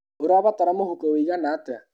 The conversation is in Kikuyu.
ũrabatara mũhũko wĩigana atĩa?